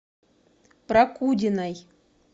прокудиной